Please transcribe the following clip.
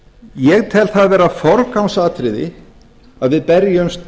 ég tel það vera forgangsatriði að við berjumst